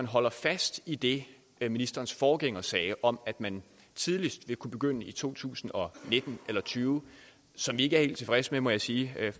holder fast i det ministerens forgænger sagde om at man tidligst vil kunne begynde i to tusind og nitten eller tyve som vi ikke er helt tilfredse med må jeg sige